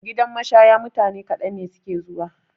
Gidan mashaya mutane kaɗan ne suke zuwa.